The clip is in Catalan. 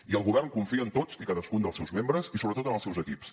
i el govern confia en tots i cadascun dels seus membres i sobretot en els seus equips